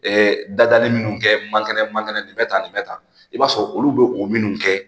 dadali minnu kɛ man kɛnɛ man kɛnɛ bɛ tan nin bɛ tan i b'a sɔrɔ olu bɛ o minnu kɛ